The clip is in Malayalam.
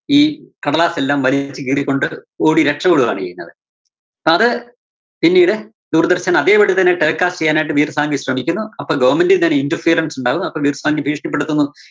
ഈ കടലാസെല്ലാം വലിച്ച് കീറിക്കൊണ്ട് ഓടി രക്ഷപ്പെടുവാണ് ചെയ്യുന്നത്. അപ്പോ അത് പിന്നീട് ദൂരദര്‍ശന്‍ അതേപടി തന്നെ telecast ചെയ്യാനായിട്ട് ശ്രമിക്കുന്നു. അപ്പോ goverment ന്റെ ഒരു interference ഉണ്ടാകുന്നു. അപ്പോ ഭീഷണിപ്പെടുത്തുന്നു.